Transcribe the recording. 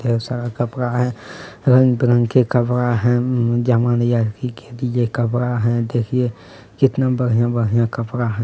ढ़ेर सारा कपड़ा है रंगबिरंग के कपड़ा है कपड़ा है। देखिए कितना बढ़िया-बढ़िया कपड़ा है।